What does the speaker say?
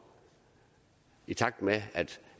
i takt med at